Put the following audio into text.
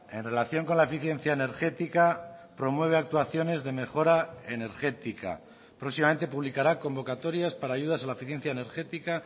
en relación con la eficiencia energética promueve actuaciones de mejora energética próximamente publicará convocatorias para ayudas a la eficiencia energética